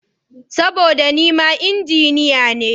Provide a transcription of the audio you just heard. Saboda nima Injiniya ne.